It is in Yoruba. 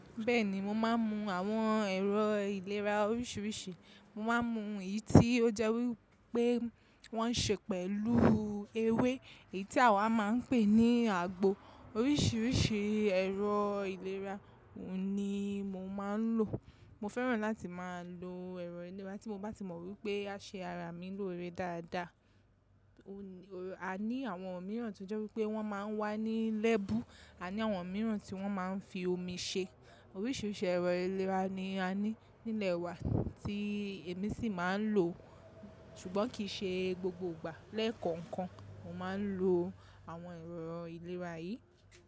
Bẹ́ẹ̀ni mo máa ń mu àwọn ẹ̀rọ ìlera oríṣiríṣi. Mo máa ń mu èyí tí ó jẹ́ wí pé wọ́n ṣe pẹ̀lú ewé èyí tí àwa máa ń pè ní àgbo. Oríṣiríṣi ẹ̀rọ ìlera ni mo máa ń lò. Mo fẹ́ràn láti máa lo ẹ̀rọ ìlera tí mo bá tí mọ̀ wípé a ṣe ara mi lòó rẹ dáadáa. A ní àwọn mìíràn tí ó jẹ́ wípé wọ́n máa ń wà ní lẹ́bú, a ní àwọn mìíràn tí wọ́n máa ń fi omi ṣe. Oríṣiríṣi ẹ̀rọ ìlera ni a ní nílẹ̀ wa tí èmi sì máa ń lò, ṣùgbọ́n kì í ṣe gbogbo ìgbà lẹ́ẹ̀kọ̀ọ̀kan mo máa ń lo àwọn ẹ̀rọ ìlera yìí.